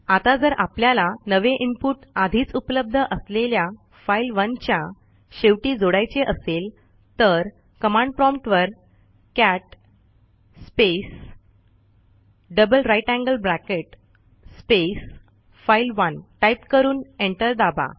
आता जर आपल्याला नवे इनपुट आधीच उपलब्ध असलेल्या file1च्या शेवटी जोडायचे असेल तर कमांड प्रॉम्प्ट वर cat space double greater than sign space file one type करून एंटर दाबा